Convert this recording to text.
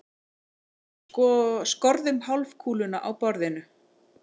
Skorðum hálfkúluna á borðinu.